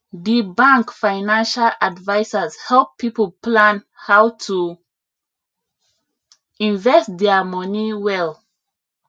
di bank financial advisers help people plan how to invest dia money well